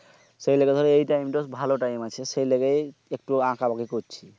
সেই লেগে ধরো এই time তা ভালো time আছে সেলেগেই একটু আকাবাকি করছি